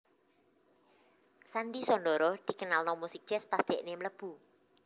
Sandhy Sondhoro dikenalno musik jazz pas dekne mlebu